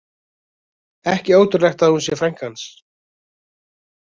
Ekki ótrúlegt að hún sé frænka hans.